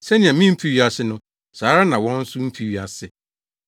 Sɛnea mimfi wiase no, saa ara na wɔn nso mfi wiase.